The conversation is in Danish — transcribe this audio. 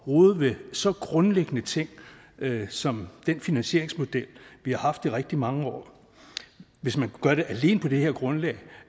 rode ved så grundlæggende ting som den finansieringsmodel vi har haft i rigtig mange år hvis man kunne gøre det alene på det her grundlag